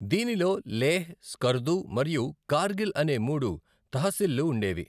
దీనిలో లేహ్, స్కర్దు మరియు కార్గిల్ అనే మూడు తహసీల్లు ఉండేవి.